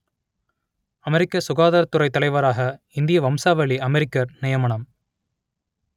அமெரிக்க சுகாதாரத்துறைத் தலைவராக இந்திய வம்சாவளி அமெரிக்கர் நியமனம்